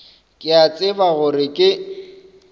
ke a tseba gore ke